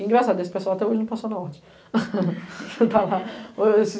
Engraçado, esse pessoal até hoje não passou na Ordem. e para lá